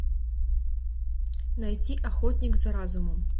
найти охотник за разумом